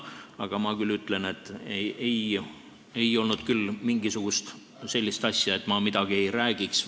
Aga ma ütlen, et ei olnud küll mingisugust sellist asja, et ma midagi ei räägiks.